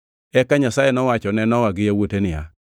Eka Nyasaye nowacho ne Nowa gi yawuote niya,